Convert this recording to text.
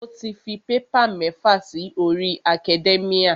Mo ti fi paper mẹ́fà si orí academia.